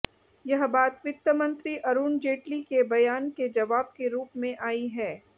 यह बात वित्तमंत्री अरुण जेटली के बयान के जवाब के रुप में आई है